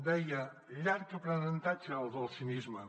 deia llarg aprenentatge el del cinisme